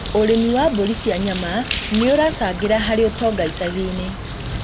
ũrĩithia wa mbũri cia nyama nĩũracangĩra harĩ ũtonga icagi-inĩ